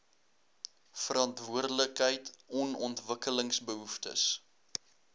verantwoordelikheid on ontwikkelingsbehoeftes